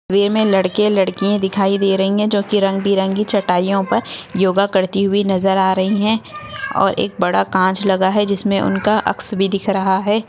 वे मे लडके लडकीया दिखाई दे रही हैं जोकी रंग बेरंगी चटाईयो पर योगा करती हुई नजर आ रही हैं और एक बडा कांच लगा हैं जिनमे उनका अक्स बी दिखाई दे रहा हैं।